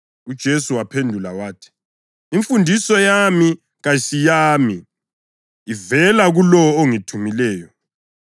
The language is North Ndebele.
UJesu waphendula wathi, “Imfundiso yami kayisiyami. Ivela kulowo ongithumileyo.